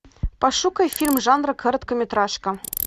пошукай фильм жанра короткометражка